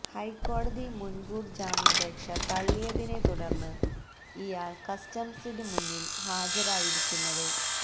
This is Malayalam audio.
ഹൈക്കോടതി മുൻകൂർ ജാമ്യാപേക്ഷ തള്ളിയതിനെ തുടർന്ന് ഇയാൾ കസ്റ്റംസിന് മുന്നിൽ ഹാജരായിരിക്കുന്നത്